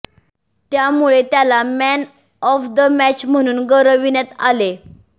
त्यामुळे त्याला man of the match म्हणून गौरविण्यात आले